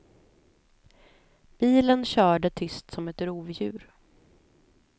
Bilen körde tyst som ett rovdjur.